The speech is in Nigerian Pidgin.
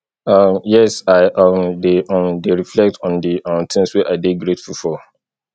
um yes i um dey um dey reflect on di um things wey i dey grateful for